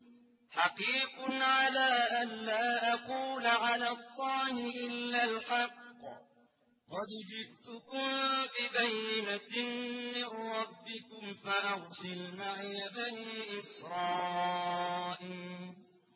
حَقِيقٌ عَلَىٰ أَن لَّا أَقُولَ عَلَى اللَّهِ إِلَّا الْحَقَّ ۚ قَدْ جِئْتُكُم بِبَيِّنَةٍ مِّن رَّبِّكُمْ فَأَرْسِلْ مَعِيَ بَنِي إِسْرَائِيلَ